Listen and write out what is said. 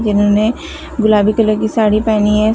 जिन्होंने गुलाबी कलर की साड़ी पेहनी है।